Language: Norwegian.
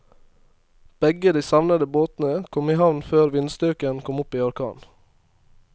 Begge de savnede båtene kom i havn før vindstyrken kom opp i orkan.